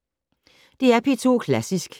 DR P2 Klassisk